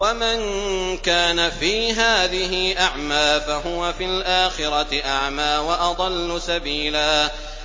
وَمَن كَانَ فِي هَٰذِهِ أَعْمَىٰ فَهُوَ فِي الْآخِرَةِ أَعْمَىٰ وَأَضَلُّ سَبِيلًا